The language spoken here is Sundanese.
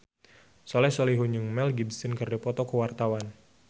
Soleh Solihun jeung Mel Gibson keur dipoto ku wartawan